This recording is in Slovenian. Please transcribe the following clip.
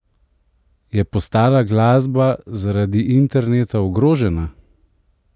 Je postala glasba zaradi interneta ogrožena?